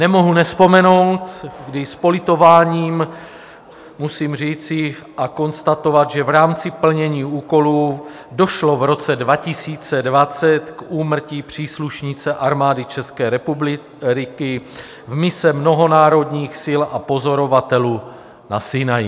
Nemohu nevzpomenout, kdy s politováním musím říci a konstatovat, že v rámci plnění úkolů došlo v roce 2020 k úmrtí příslušnice Armády České republiky v misi mnohonárodních sil a pozorovatelů na Sinaji.